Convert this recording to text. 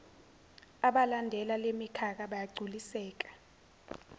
abalandela lemikhakha bayogculiseka